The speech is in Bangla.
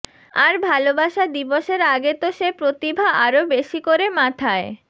আর ভালোবাসা দিবসের আগে তো সে প্রতিভা আরও বেশি করে মাথায়